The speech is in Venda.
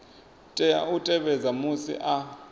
tea u tevhedza musi a